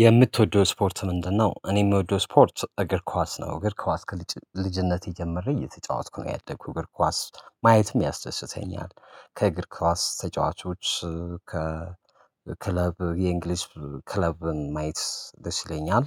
የምትወደው ስፖርት ምንድነው? እኔ የምወደው ስፖርት እግር ኳስ ነው እግር ኳስ ከልጅነቴ ጀምሬ እየተጫወትኩ ነው ያደግኩት እግር ኳስ ማየትም ያስደስተኛል። ከእግር ኳስ ተጫዋቾች ከ ክለብ የእንግሊዝ ክለብን ማየት ደስ ይለኛል።